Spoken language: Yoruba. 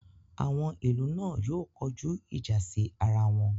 Àwọn ìlú náà yóò kojú ìjà sí ara wọn